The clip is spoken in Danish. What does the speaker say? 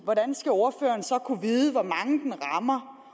hvordan skal ordføreren så kunne vide hvor mange den rammer